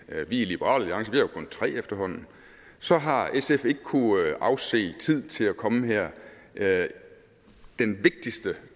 i liberal jo kun tre efterhånden så har sf ikke kunnet afse tid til at komme her den vigtigste